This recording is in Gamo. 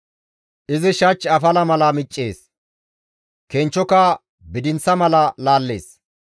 Izi shach afala mala miccees; kenchchoka bidinththa mala laallees.